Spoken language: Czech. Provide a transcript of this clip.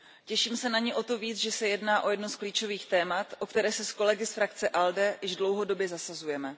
Těším se na ni o to víc, že se jedná o jedno z klíčových témat, o které se s kolegy z frakce ALDE již dlouhodobě zasazujeme.